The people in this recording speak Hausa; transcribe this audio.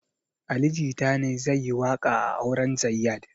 Ali jita ne zai yi waƙa a auren zayyad